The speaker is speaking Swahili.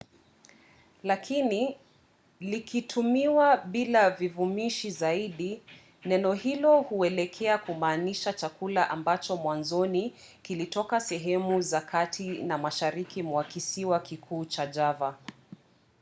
lakini llikitumiwa bila vivumishi zaidi neno hilo huelekea kumaanisha chakula ambacho mwanzoni kilitoka sehemu za kati na mashariki mwa kisiwa kikuu cha java